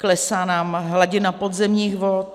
Klesá nám hladina podzemních vod.